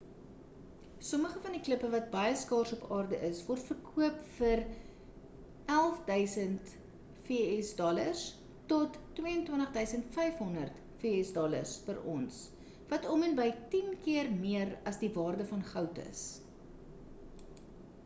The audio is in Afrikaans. sommige van die klippe wat baie skaars op aarde is word verkoop van vs$11 000 tot $22 500 per ons wat om en by tien keer meer as die waarde van goud is